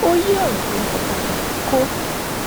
ó yí òrò tó ń sọ padà kó